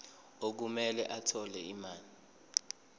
okumele athole imali